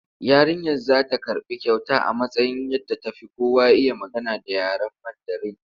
Yarinyar za ta karɓi kyauta a matsayin wadda ta fi kowa iya magana da yaren Mandarin.